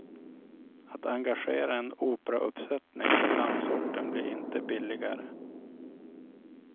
Att engagera en operauppsättning från landsorten blir inte billigare.